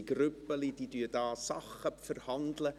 Es gibt Grüppchen, die hier Dinge verhandeln.